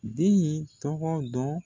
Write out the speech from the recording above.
Den in tɔgɔ dɔn.